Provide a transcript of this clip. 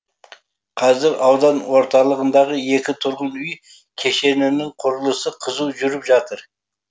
қазір аудан орталығындағы екі тұрғын үй кешенінің құрылысы қызу жүріп жатыр